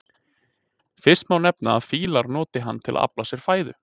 Fyrst má nefna að fílar nota hann til að afla sér fæðu.